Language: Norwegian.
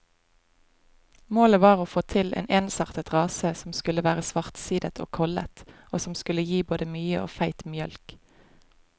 Målet var å få til en ensartet rase som skulle være svartsidet og kollet, og som skulle gi både mye og feit mjølk.